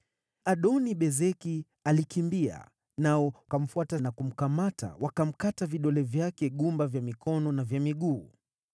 Adoni-Bezeki pia alikimbia, nao wakamfuata na kumkamata, wakamkata vidole vyake gumba vya mikono na vya miguu.